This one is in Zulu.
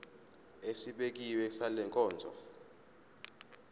esibekiwe sale nkonzo